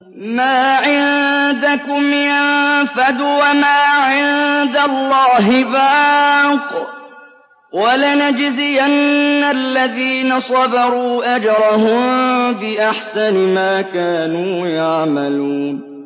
مَا عِندَكُمْ يَنفَدُ ۖ وَمَا عِندَ اللَّهِ بَاقٍ ۗ وَلَنَجْزِيَنَّ الَّذِينَ صَبَرُوا أَجْرَهُم بِأَحْسَنِ مَا كَانُوا يَعْمَلُونَ